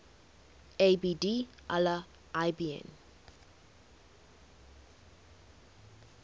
abd allah ibn